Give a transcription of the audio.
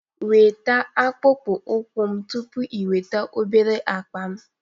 Nweta akpụkpọ ụkwụ m tupu ị weta obere akpa m